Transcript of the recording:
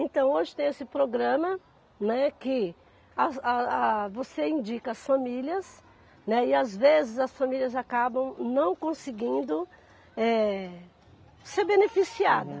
Então hoje tem esse programa, né, que as a a você indica as famílias, né, e às vezes as famílias acabam não conseguindo eh ser beneficiadas. Uhum